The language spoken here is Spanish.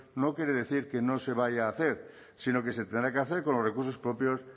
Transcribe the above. no quiere decir que no se vaya a hacer si no que se tendrá que hacer con los recursos propios